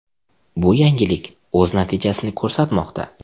Bu yangilik o‘z natijasini ko‘rsatmoqda.